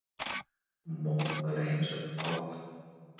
Mótmæla heimsókn páfa